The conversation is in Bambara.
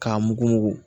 K'a mugu